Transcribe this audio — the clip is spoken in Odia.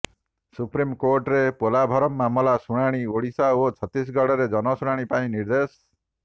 ସୁପ୍ରିମକୋର୍ଟରେ ପୋଲାଭରମ୍ ମାମଲାର ଶୁଣାଣି ଓଡ଼ିଶା ଓ ଛତିଶଗଡ଼ରେ ଜନଶୁଣାଣି ପାଇଁ ନିର୍ଦ୍ଦେଶ